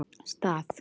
Stað